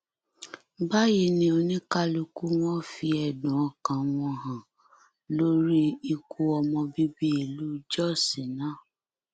báyìí ni oníkálukú wọn fi ẹdùn ọkàn wọn hàn lórí ikú ọmọ bíbí ìlú jóṣ náà